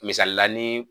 Misalila nii